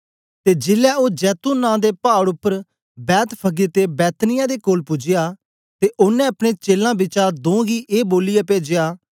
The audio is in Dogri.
ते जेलै ओ जैतून नां दे पाड़ उपर बैतफगे ते बैतनिय्याह दे कोल पूजया ते ओनें अपने चेलां बिचा दों गी ए बोलियै पेजया